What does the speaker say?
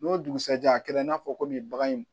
N'o dugusajɛ a kɛra i n'a fɔ ko nin bagan in